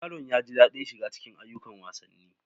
Yaron ya ji daɗin shiga cikin ayyukan wasanni.